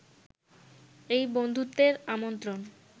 এই বন্ধুত্বের আমন্ত্রণ